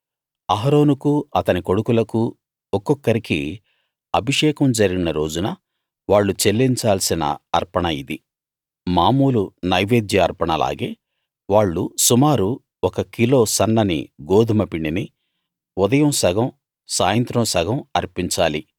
అహరోనుకూ అతని కొడుకులకూ ఒక్కొక్కరికీ అభిషేకం జరిగిన రోజున వాళ్ళు చెల్లించాల్సిన అర్పణ ఇది మామూలు నైవేద్య అర్పణలాగే వాళ్ళు సుమారు ఒక కిలో సన్నని గోదుమ పిండిని ఉదయం సగం సాయంత్రం సగం అర్పించాలి